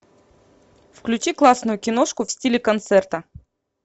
включи классную киношку в стиле концерта